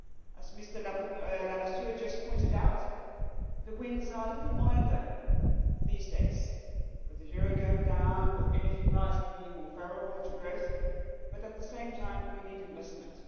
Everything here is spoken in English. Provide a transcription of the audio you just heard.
As Mr Lamassoure has just pointed out, the winds are a little milder these days with the euro going down and with energy pricing being more favourable to growth but, at the same time, we need investment.